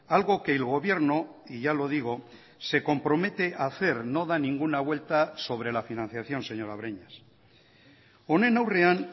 algo que el gobierno y ya lo digo se compromete a hacer no da ninguna vuelta sobre la financiación señora breñas honen aurrean